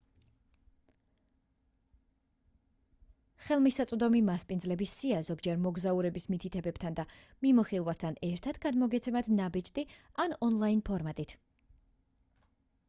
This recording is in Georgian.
ხელმისაწვდომი მასპინძლების სია ზოგჯერ მოგზაურების მითითებებთან და მიმოხილვასთან ერთად გადმოგეცემათ ნაბეჭდი და/ან ონლაინ ფორმატით